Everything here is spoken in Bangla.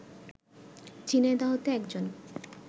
ঝিনাইদহতে একজন